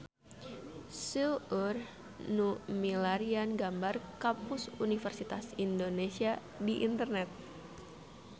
Seueur nu milarian gambar Kampus Universitas Indonesia di internet